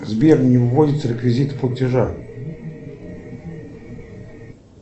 сбер не вводятся реквизиты платежа